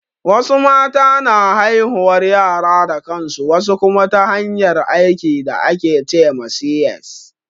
Wasu mata na haihuwar yara da kansu, wasu kuma ta hanyar aiki da ake ce ma C.S